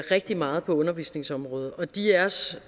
rigtig meget på undervisningsområdet og de af os